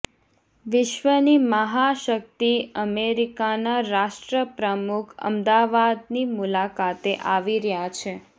વિશ્વની મહાશક્તિ અમેરિકાનાં રાષ્ટ્રપ્રમુખ અમદાવાદની મુલાકાતે આવી રહ્યા છે